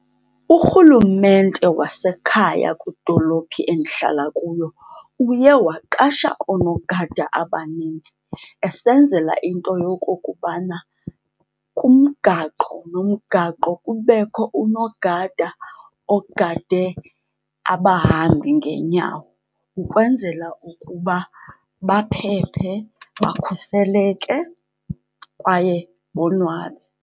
Urhulumente wasekhaya kwidolophi endihlala kuyo uye waqasha oonogada abanintsi esenzela into yokokubana kumgaqo nomgaqo kubekho unogada ogade abahambi ngeenyawo, ukwenzela ukuba baphephe, bakhuseleke kwaye bonwabe.